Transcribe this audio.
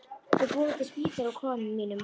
Við búum til spítala úr kofanum mínum.